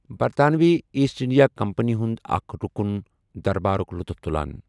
برطانوی East India Company ہُند اكھ رُکُن دربارُك لطُف تُلان ۔